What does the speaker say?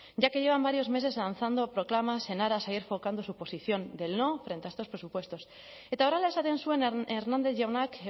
ya que llevan varios meses lanzando proclamas en aras a ir su posición del no frente a estos presupuestos eta horrela esaten zuen hernández jaunak